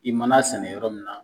I mana a sɛnɛ yɔrɔ min na.